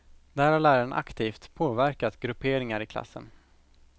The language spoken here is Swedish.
Där har läraren aktivt påverkat grupperingar i klassen.